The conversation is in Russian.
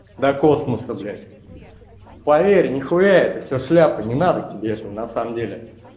до космоса блять поверь не хуя это всё шляпа не надо тебе это на самом деле